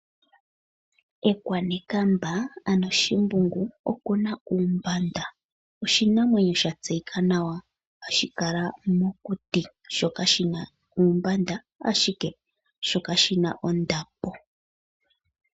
Ekwanekamba ano Shimbungu okuna uumbanda. Oshinamwenyo sha tseyika nawa hashi kala mokuti, shoka shina uumbanda, ashike oshina woo ondapo.